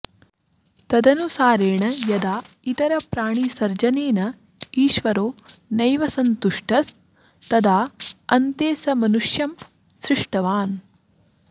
तदनुसारेण यदा इतरप्राणिसर्जनेनेश्वरो नैव सन्तुष्ट स्तदाऽन्ते स मनुष्यं सृष्टवान्